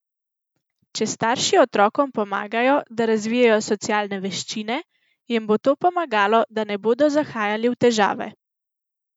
Če starši otrokom pomagajo, da razvijejo socialne veščine, jim bo to pomagalo, da ne bodo zahajali v težave.